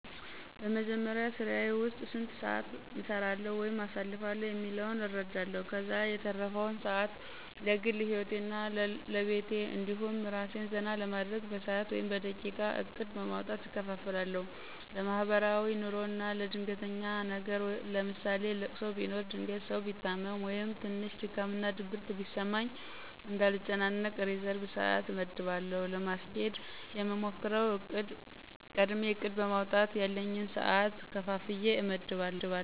በመጀመሪያ ስራየ ዉስጥ ስንት ሰአት እሰራለዉ ወይም አሳልፋለሁ የሚለዉን እረዳለሁ። ከዛ የተረፈዉን ሰአት ለግል ሂወቴ እና ለቤቴ እንዲሁም አራሴን ዘና ለማድረግ በሰአት ወይም በደቂቃ እቅድ በማዉጣት እከፋፍላለሁ። ለማሕበራዉይ ኑሮ አና ለድንገተኛ ነገር ለምሳሌ ለቅሶ ቢኖር ድንገት ሰው ቢታመም ወይም ትንሽ ድካም እና ድብርት ቢያጋጥመኝ እንዳልጨናነቅ ሪዘርብ ሰአት አመድባለሁ። ለማስኬድ የምሞክረዉ፦ ቀድሜ እቅድ በማዉጣት ያለኝን ሰአት ከፋፍየ አመድባለሁ።